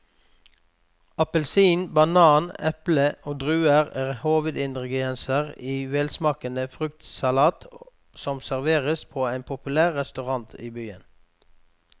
Appelsin, banan, eple og druer er hovedingredienser i en velsmakende fruktsalat som serveres på en populær restaurant i byen.